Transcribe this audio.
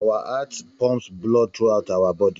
Our heart pumps blood throughout our body